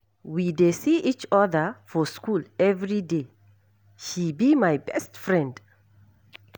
We dey see each other for shool everyday. She be my best friend.